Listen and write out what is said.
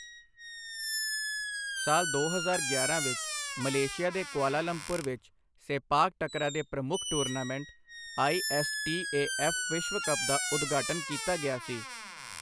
ਸਾਲ ਦੋ ਹਜ਼ਾਰ ਗਿਆਰਾਂ ਵਿੱਚ ਮਲੇਸ਼ੀਆ ਦੇ ਕੁਆਲਾਲੰਪੁਰ ਵਿੱਚ ਸੇਪਾਕ ਟਕਰਾ ਦੇ ਪ੍ਰਮੁੱਖ tournament I. S. T. A. F. ਵਿਸ਼ਵ ਕੱਪ ਦਾ ਉਦਘਾਟਨ ਕੀਤਾ ਗਿਆ ਸੀ।